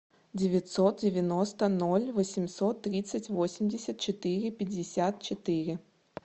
девятьсот девяносто ноль восемьсот тридцать восемьдесят четыре пятьдесят четыре